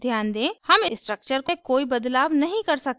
ध्यान दें हम structure में कोई बदलाव नहीं कर सकते